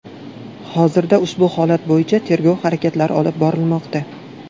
Hozirda ushbu holat bo‘yicha tergov harakatlari olib borilmoqda.